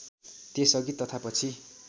त्यसअघि तथा पछि